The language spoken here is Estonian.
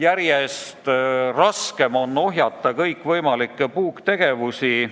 Järjest raskem on ohjeldada kõikvõimalikke puuktegevusi.